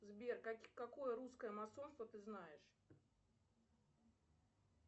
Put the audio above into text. сбер какое русское масонство ты знаешь